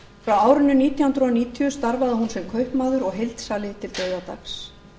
frá árinu nítján hundruð níutíu starfaði hún sem kaupmaður og heildsali til dauðadags